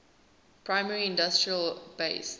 primary industry based